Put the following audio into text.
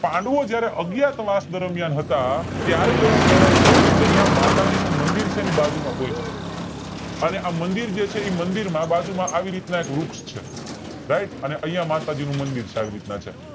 પાંડવો જયારે અજ્ઞાતવાસ દરમિયાન હતા ત્યારે એવું કહેવાય છે કે અહીંયા માતાજી નું મંદિર છેને બાજુમાં પોહ્ચ્યા અને માતાજીનું મંદિર છેને આ મંદિર છે બાજુ માં વૃક્ષ છે આવી રીતે ના એક વૃક્ષ છે right અને અહીંયા માતાજી નું મંદિર છે આવી રીતના છે